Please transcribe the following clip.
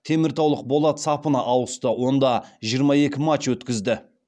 теміртаулық болат сапына ауысты онда жиырма екі матч өткізді